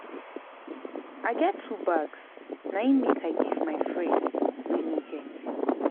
I get two bags na im make I give my friend wey no get.